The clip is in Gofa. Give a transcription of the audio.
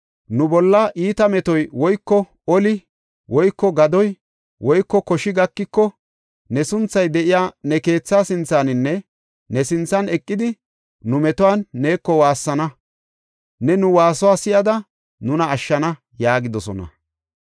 ‘Nu bolla iita metoy woyko oli woyko gadoy woyko koshi gakiko, ne sunthay de7iya ne keethaa sinthaninne ne sinthan eqidi, nu metuwan neeko waassana. Ne nu waasuwa si7ada nuna ashshana’ yaagidosona.